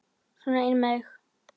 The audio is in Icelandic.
Sona inn með þig!